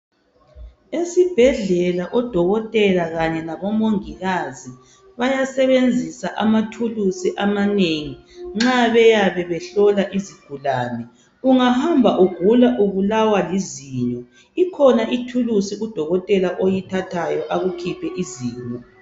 Esibhedlela odokotela labomongikazi bayasebenzisa amathulusi amanengi nxa beyabe behlola izigulane. Ungahamba ugula ubulawa lizinyo, kukhona ithulusi udokotela alithathayo akukhiphe izinyo.